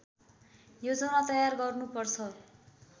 योजना तयार गर्नु पर्छ